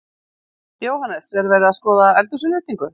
Jóhannes: Er verið að skoða eldhúsinnréttingu?